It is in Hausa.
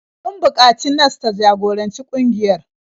Sun buƙaci nas ta jagoranci ƙungiyar.